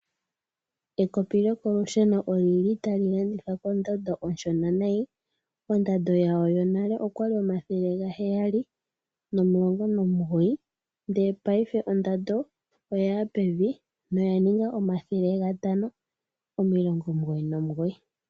Ekopi lyokolusheno olyi li tali landithwa kondando oshona nayi. Ondando yalyo yonale oya li 719 ndele paife ondando oya ya pevi noyaninga 599.